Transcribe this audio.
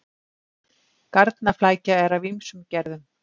Garnaflækja er af ýmsum gerðum.